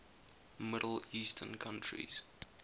middle eastern countries